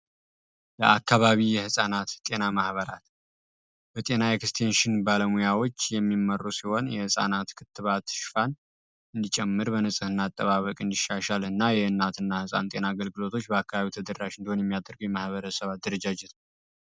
ለአካባቢ የሕፃናት ሕጤና ማህበራት በጤና ኤክስቴንሽን ባለሙያዎች የሚመሩ ሲሆን የሕፃናት ክትባ ትሽፋን እንዲጨምር በንጽህና አጠባበቅ እንዲሻሻል እና የእናት እና ሕፃን ጤና አገልግሎቶች በአካባቢው ተድራሽ እንደሁን የሚያደርግ የማህበረ ሰባ ድረጃጅት ነው፡፡